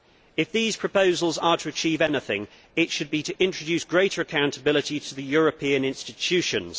If these proposals are to achieve anything it should be to introduce greater accountability to the European institutions.